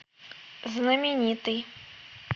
знаменитый